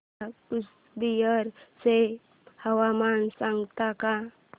मला कूचबिहार चे हवामान सांगता का